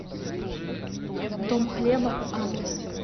дом хлеба адрес